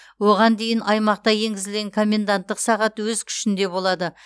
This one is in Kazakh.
оған дейін аймақта енгізілген коменданттық сағат өз күшінде болады